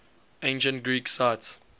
ancient greek sites